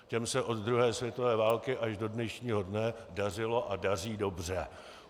Těm se od druhé světové války až do dnešního dne dařilo a daří dobře.